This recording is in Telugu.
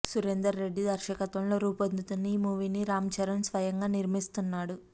సురేందర్ రెడ్డి దర్శకత్వంలో రూపొందుతున్న ఈ మూవీని రామ్చరణ్ స్వయంగా నిర్మిస్తున్నాడు